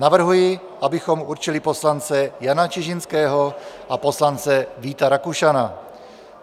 Navrhuji, abychom určili poslance Jana Čižinského a poslance Víta Rakušana.